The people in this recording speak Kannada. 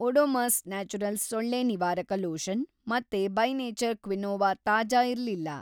ಓಡೊಮಸ್ ನ್ಯಾಚುರಲ್ಸ್‌ ಸೊಳ್ಳೆ ನಿವಾರಕ ಲೋಷನ್ ಮತ್ತೆ ಬೈ ನೇಚರ್ ಕ್ವಿನೋವಾ ತಾಜಾ ಇರ್ಲಿಲ್ಲ.